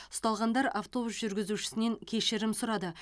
ұсталғандар автобус жүргізушісінен кешірім сұрады